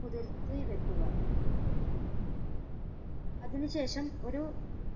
കുതിർത്ത് വെക്കുക അതിനു ശേഷം ഒരു